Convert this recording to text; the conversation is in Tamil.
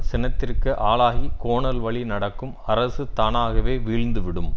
சினத்திற்கு ஆளாகி கோணல் வழி நடக்கும் அரசு தானாகவே வீழ்ந்து விடும்